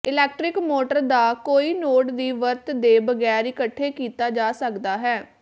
electric motor ਦਾ ਕੋਈ node ਦੀ ਵਰਤ ਦੇ ਬਗੈਰ ਇਕੱਠੇ ਕੀਤਾ ਜਾ ਸਕਦਾ ਹੈ